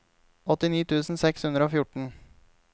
åttini tusen seks hundre og fjorten